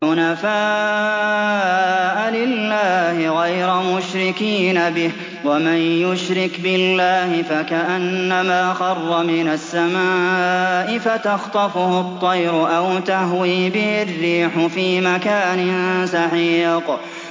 حُنَفَاءَ لِلَّهِ غَيْرَ مُشْرِكِينَ بِهِ ۚ وَمَن يُشْرِكْ بِاللَّهِ فَكَأَنَّمَا خَرَّ مِنَ السَّمَاءِ فَتَخْطَفُهُ الطَّيْرُ أَوْ تَهْوِي بِهِ الرِّيحُ فِي مَكَانٍ سَحِيقٍ